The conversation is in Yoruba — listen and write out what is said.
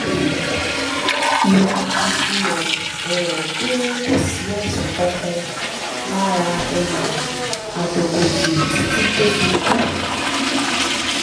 ìwádìí fihàn um pé kò sí àìsàn kankan lára um àdògòkè títí tó fi kú